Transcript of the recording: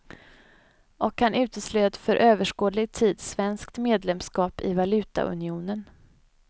Och han uteslöt för överskådlig tid svenskt medlemskap i valutaunionen.